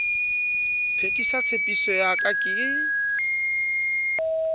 phethisa tshepiso ya ka ke